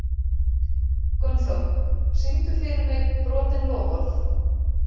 Gunnþór, syngdu fyrir mig „Brotin loforð“.